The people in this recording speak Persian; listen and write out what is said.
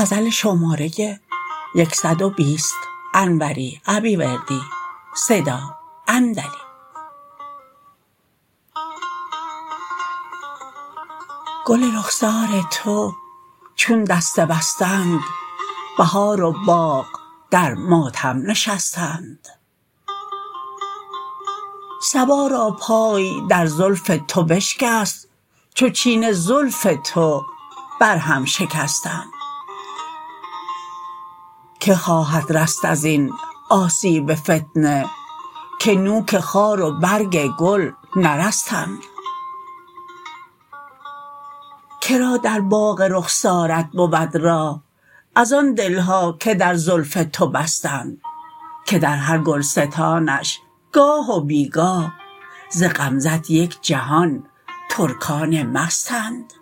گل رخسار تو چون دسته بستند بهار و باغ در ماتم نشستند صبا را پای در زلف تو بشکست چو چین زلف تو بر هم شکستند که خواهد رست از این آسیب فتنه که نوک خار و برگ گل نرستند کرا در باغ رخسارت بود راه از آن دلها که در زلف تو بستند که در هر گلستانش گاه و بی گاه ز غمزه ت یک جهان ترکان مستند